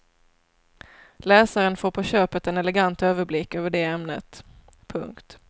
Läsaren får på köpet en elegant överblick över det ämnet. punkt